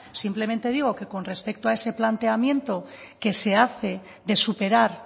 simplemente digo que con respecto a ese planteamiento que se hace de superar